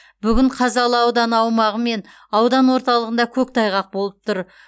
бүгін қазалы ауданы аумағы мен аудан орталығында көктайғақ болып тұр